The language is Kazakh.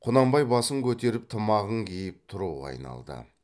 құнанбай басын көтеріп тымағын киіп тұруға айналды